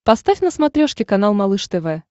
поставь на смотрешке канал малыш тв